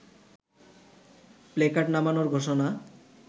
placard নামানোর ঘোষণা